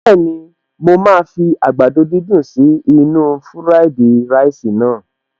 Bẹ́ẹ̀ni, mo máa fi àgbàdo dídùn sí inú-u fúráìdì ráìsì naa